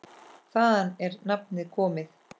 Þaðan er nafnið komið.